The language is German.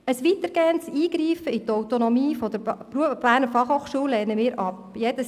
Ein weitergehendes Eingreifen in die Autonomie der BFH lehnen wir ab.